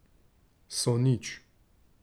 So nič.